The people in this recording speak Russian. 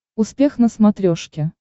успех на смотрешке